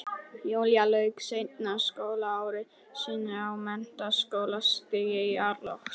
Júlía lauk seinna skólaári sínu á menntaskólastigi í árslok